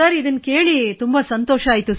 ಇದನ್ನು ಕೇಳಿ ನಮಗೆ ಬಹಳ ಸಂತೋಷವಾಯಿತು